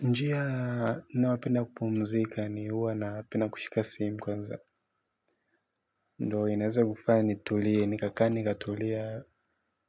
Njia naowapenda kupumzika ni uwa napenda kushika simu kwanza. Ndo inaweza kufanya nitulie, nikaka nikatulia.